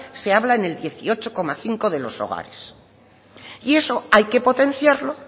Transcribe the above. se habla en el dieciocho coma cinco de los hogares y eso hay que potenciarlo